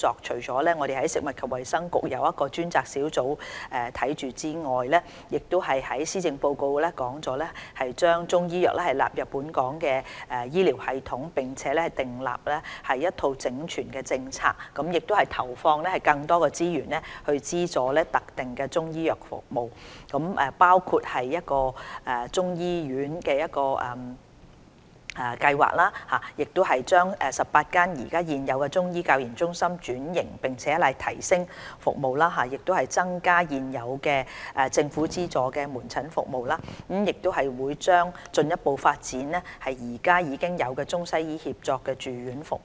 除了食物及衞生局轄下成立專責發展中醫藥的組別外，施政報告亦提出把中醫藥納入本港醫療系統，並訂立一套整全的政策，投放更多資源，資助特定的中醫藥服務，包括中醫醫院的計劃；把18間現有的中醫教研中心轉型並提升服務，增加政府資助的門診服務；以及將進一步發展醫院管理局醫院現有的中西醫協作住院服務。